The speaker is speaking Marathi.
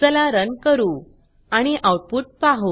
चला रन करू आणि आउटपुट पाहु